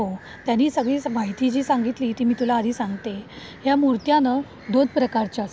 हो, त्यांनी सगळी माहिती सांगितली ती मी तुला आधी सांगते. या मूर्त्या ना दोन प्रकारच्या असतात